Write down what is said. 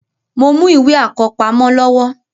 Mo mú ìwé àkọ́pamọ́ lọ́wọ́